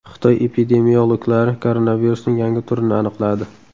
Xitoy epidemiologlari koronavirusning yangi turini aniqladi.